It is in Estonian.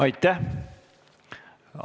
Aitäh!